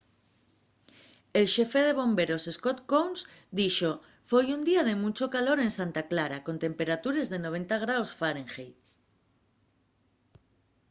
el xefe de bomberos scott kouns dixo: foi un día de munchu calor en santa clara con temperatures de 90º fahrenheit